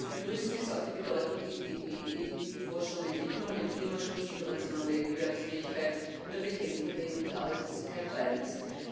Zu begrüßen ist auch die Bedeutung, die die EIB Forschung und Entwicklung, dem Klimaschutz, Innovation und Wettbewerbsfähigkeit und der Bekämpfung der Jugendarbeitslosigkeit beimisst